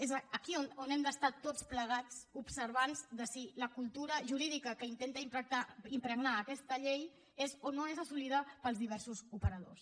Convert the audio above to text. és aquí on hem d’estar tots plegats observants de si la cultura jurídica que intenta impregnar aquesta llei és o no és assolida pels diversos operadors